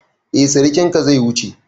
Eh sirikinka zai wuce.